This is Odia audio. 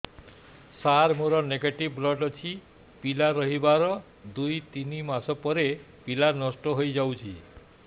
ସାର ମୋର ନେଗେଟିଭ ବ୍ଲଡ଼ ଅଛି ପିଲା ରହିବାର ଦୁଇ ତିନି ମାସ ପରେ ପିଲା ନଷ୍ଟ ହେଇ ଯାଉଛି